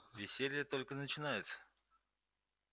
веселье только начинается